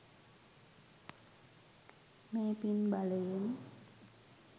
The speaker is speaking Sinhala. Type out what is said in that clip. මේ පින් බලයෙන්